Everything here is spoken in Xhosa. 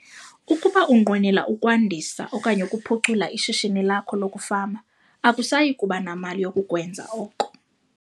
Ukuba unqwenela ukwandisa, okanye ukuphucula ishishini lakho lokufama akusayi kuba namali yokukwenza oko.